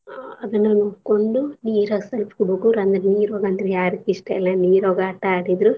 ಅದನ್ನ ನೋಡ್ಕೊಂಡು ನೀರಾಗ್ ಸಲ್ಪ ಹುಡ್ಗೂರ್ ಅಂದ್ರ ನೀರ್ ಒಳ್ಗ ಅಂದ್ರ ಯಾರಿಗಿಸ್ಟಇಲ್ಲ ನೀರ್ಒಳ್ಗ ಆಟ ಆಡಿದ್ರು.